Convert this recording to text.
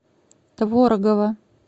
творогова